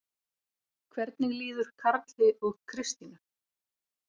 Hvernig líður Karli og Kristínu?